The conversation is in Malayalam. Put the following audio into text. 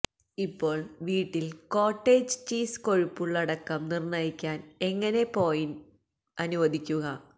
ഇപ്പോൾ വീട്ടിൽ കോട്ടേജ് ചീസ് കൊഴുപ്പ് ഉള്ളടക്കം നിർണ്ണയിക്കാൻ എങ്ങനെ പോയിന്റ് അനുവദിക്കുക